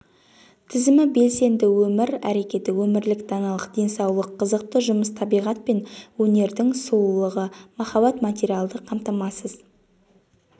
тізімі белсенді өмір әрекеті өмірлік даналық денсаулық қызықты жұмыс табиғат пен өнердің сұлулығы махаббат материалды қамтамасыз